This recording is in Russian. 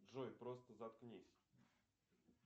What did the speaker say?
джой просто заткнись